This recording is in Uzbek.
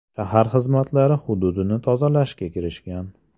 Shahar xizmatlari hududni tozalashga kirishgan.